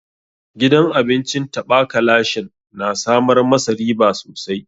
Gidan abincin taɓa ka lashen na samar ma sa riba sosai.